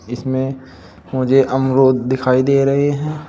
इसमें मुझे अमरूद दिखाई दे रहे हैं।